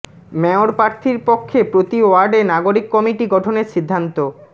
mayor প্রার্থীর পক্ষে প্রতি ওয়ার্ডে নাগরিক কমিটি গঠনের সিদ্ধান্ত